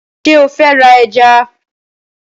Ṣé o fẹ́ ra ẹja?